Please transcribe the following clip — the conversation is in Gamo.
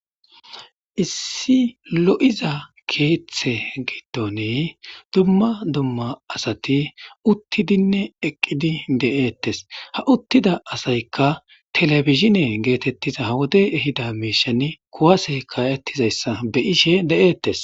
lssi lo7iza keeththe giddon dumma dumma asati uttidinne eqqidi de7eettes ha uttida asayka telebizhine geetettiza ha wodey ehida miishan kuwasey kaa7ettizayssa beyishe de7eettes.